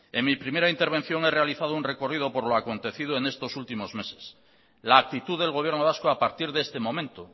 en mi primera intervención he realizado un recorrido por lo acontecido en estos últimos meses la actitud del gobierno vasco a partir de este momento